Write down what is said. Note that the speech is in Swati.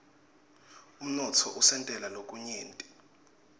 umnotfo usentela lokunyenti